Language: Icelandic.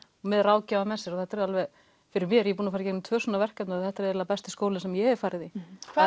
með ráðgjafa með sér og þetta er fyrir mér ég hef farið í tvö svona verkefni og þetta er eiginlega besti skóli sem ég hef farið í hvað